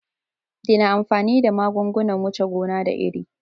Daina amfani da magungunan wuce gona da iri